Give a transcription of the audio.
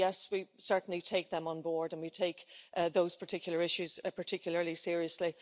we certainly take them on board, and we take those particular issues a particularly seriously.